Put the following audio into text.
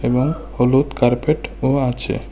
এবং হলুদ কার্পেট ও আছে।